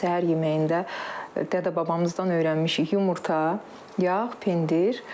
Səhər yeməyində dədə-babamızdan öyrənmişik yumurta, yağ, pendir.